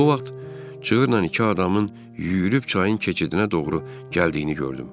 Bu vaxt çığırla iki adamın yüyürüb çayın keçidinə doğru gəldiyini gördüm.